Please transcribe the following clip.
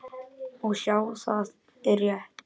Og sjá, það er rétt.